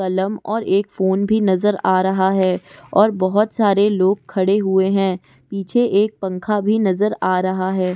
कलम और एक फ़ोन भी नज़र आ रहा है और बहुत सारे लोग खड़े हुए हैं पीछे एक पंखा भी नज़र आ रहा है।